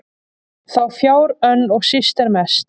þá fjár önn og síst er mest